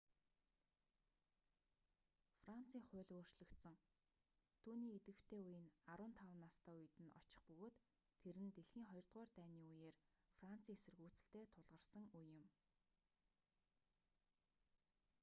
францын хууль өөрчлөгдсөн түүний идвэхтэй үе нь 15 настай үед нь очих бөгөөд тэр нь дэлхийн хоёрдугаар дайны үеэр францын эсэргүүцэлтэй тулгарасэн үе юм